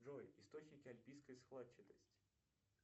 джой источники альпийской складчатости